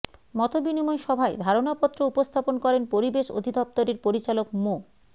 মতবিনিময় সভায় ধারণাপত্র উপস্থাপন করেন পরিবেশ অধিদপ্তরের পরিচালক মো